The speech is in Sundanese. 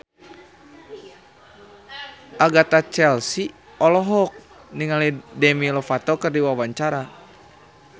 Agatha Chelsea olohok ningali Demi Lovato keur diwawancara